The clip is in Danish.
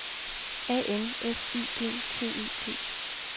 A N S I G T E T